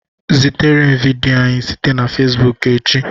Zitere m vidiyo anyị site na facebook echi